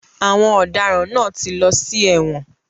Àwọn ọ̀daràn náà ti lọ sí ẹ̀wọ̀n.